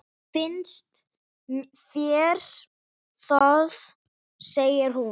Finnst þér það, segir hún.